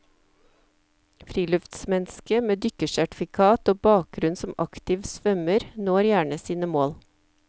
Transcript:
Friluftsmennesket med dykkersertifikat og bakgrunn som aktiv svømmer, når gjerne sine mål.